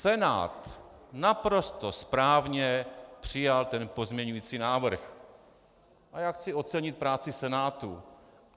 Senát naprosto správně přijal ten pozměňovací návrh a já chci ocenit práci Senátu.